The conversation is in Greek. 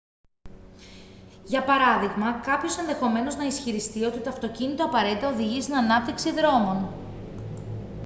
για παράδειγμα κάποιος ενδεχομένως να ισχυριστεί ότι το αυτοκίνητο απαραίτητα οδηγεί στην ανάπτυξη δρόμων